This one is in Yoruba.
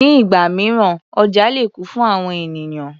Ní ìgbà mìíràn oja lè kún fún àwọn ènìyàn.